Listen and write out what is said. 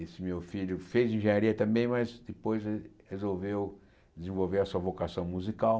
Esse meu filho fez engenharia também, mas depois re resolveu desenvolver a sua vocação musical.